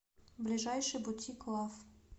ближайший бутик лав